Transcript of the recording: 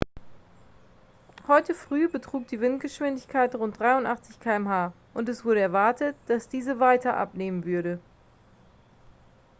heute früh betrug die windgeschwindigkeit rund 83 km/h und es wurde erwartet dass diese weiter abnehmen würde